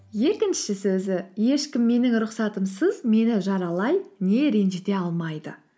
екінші сөзі ешкім менің рұхсатымсыз мені жаралай не ренжіте алмайды